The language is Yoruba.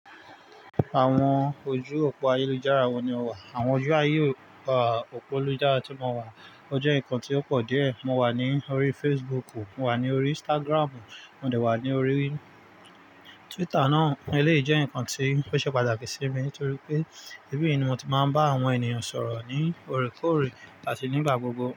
Àwọn ojú òpó ayélujára wo ni o wà? Àwọn ojú ayé òpó lújára tí mo wà, ọ jẹ́ ǹkan tí ó pọ̀ díẹ̀. Mo wà ní orí Facebook, mo wà ní orí Instagram, mo dẹ̀ wà ní orí Twitter náà. Eléyìí jẹ́ ǹkan tí ó ṣe pàtàkì sí mi torí pé, ibi ni mo ti máa ń bá àwọn ènìyàn sọ̀rọ̀ ní orekore ati nígbà gbogbo.